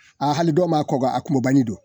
Aa hali dɔw b'a kɔ k'an mɔbali dun.